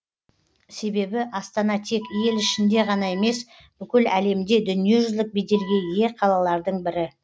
себебі астана тек ел ішінде ғана емес бүкіл әлемде дүниежүзілік беделге ие қалалардың бірі